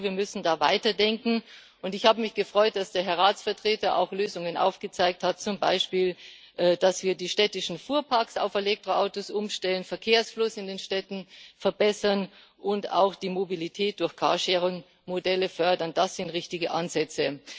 Ich glaube, wir müssen da weiter denken, und ich habe mich gefreut, dass der Herr Ratsvertreter auch Lösungen aufgezeigt hat Zum Beispiel, dass wir die städtischen Fuhrparks auf Elektroautos umstellen, den Verkehrsfluss in den Städten verbessern und auch die Mobilität durch Carsharing Modelle fördern das sind richtige Ansätze.